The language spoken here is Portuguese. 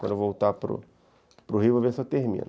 Quando eu voltar para para o Rio, vou ver se eu termino.